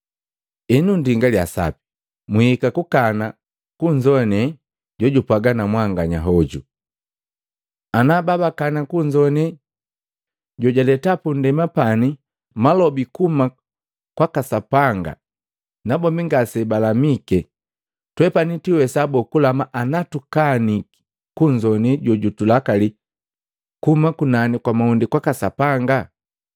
Henu ndingalya sapi mwiika kukana kunzowane jojupwaga na mwanganya hoju. Ana babakana kunzowane jojaleta punndema pani malobi kuhuma kwa Sapanga nabombi ngase balamike, twepani twiiwesa boo kulama ana tukaniki kunzowane jojutulakali kuhuma kunani kwa mahunde kwaka Sapanga?